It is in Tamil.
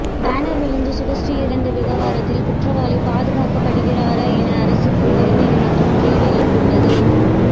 பேனர் விழுந்து சுபஸ்ரீ இறந்த விவகாரத்தில் குற்றவாளி பாதுகாக்கப்படுகிறாரா என அரசுக்கு உயர்நீதிமன்றம் கேள்வி எழுப்பியுள்ளது